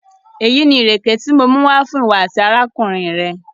Èyí ni irẹkẹ ti mò mú wa fún iwọ̀ àti arákùnrin rẹ̀.